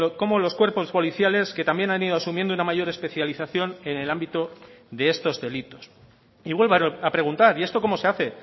como los cuerpos policiales que también han ido asumiendo una mayor especialización en el ámbito de estos delitos y vuelvo a preguntar y esto cómo se hace